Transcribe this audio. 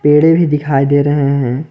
पेड़े भी दिखाई दे रहे हैं।